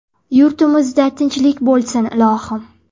Yurtimizda tinchlik bo‘lsin, ilohim.